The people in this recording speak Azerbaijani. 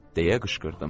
Deyə qışqırdım.